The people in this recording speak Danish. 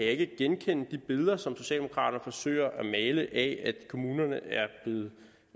ikke genkende de billeder som socialdemokraterne forsøger at male af at kommunerne